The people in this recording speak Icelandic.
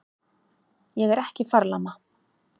Ég er ekki farlama.